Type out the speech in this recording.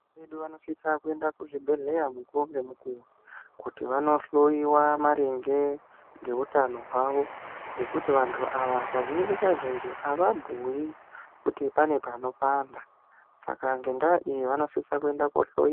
Vana vedu vanosisa kuenda kuzvibhedhlera mukuwo ngemukuwo kuti vandohloiwa maringe ngehutano hwavo ngekuti vantu ava kazhinji kazhinji ava bhuyi kuti pane pano panda saka ngenyaya iyi vanosisa kuenda kundohloiwa.